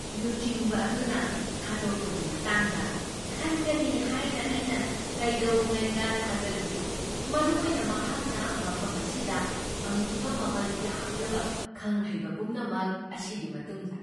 ꯂꯨꯆꯤꯡꯕ ꯑꯗꯨꯅ ꯊꯥꯗꯣꯛꯄꯒꯤ ꯃꯇꯥꯡꯗ ꯈꯟꯒꯅꯤ ꯍꯥꯏꯅ ꯑꯩꯅ ꯀꯩꯗꯧꯉꯩꯗ ꯊꯥꯖꯔꯨꯗꯦ, ꯃꯔꯨꯑꯣꯏꯅ ꯃꯍꯥꯛꯅ ꯃꯐꯝ ꯑꯁꯤꯗ ꯐꯪꯈꯤꯕ ꯃꯃꯜ ꯌꯥꯝꯂꯕ ꯈꯪ ꯍꯩꯕ ꯄꯨꯝꯅꯃꯛ ꯑꯁꯤꯒꯤ ꯃꯇꯨꯡꯗ꯫